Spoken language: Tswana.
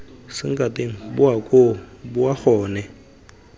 sankatane boa koo boa gone